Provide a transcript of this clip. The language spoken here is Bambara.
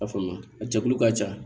A faamuya a jɛkulu ka ca